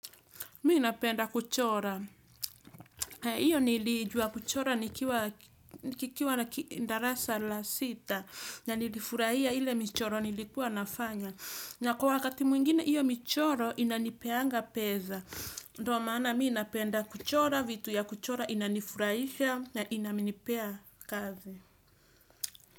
Mii napenda kuchora. Iyo niliijua kuchora nikiwa nikikuwa na darasa la sita. Na nilifurahia ile michoro nilikuwa nafanya. Na kwa wakati mwingine iyo michoro inanipeanga peza. Ndo maana mi napenda kuchora vitu ya kuchora inanifurahisha na inanipea kazi.